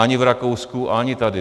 Ani v Rakousku, ani tady.